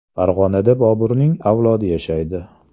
Farg‘onada Boburning avlodi yashaydi.